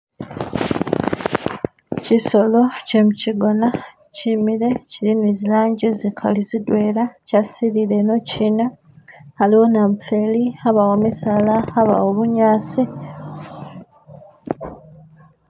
Kisolo kyemukigona kimile, kili ni zilangi zikali zidwela, kyasilile inoki, haliwo namufeli, habawo misaala, habawo bunyasi